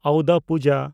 ᱚᱣᱫᱟ ᱯᱩᱡᱟ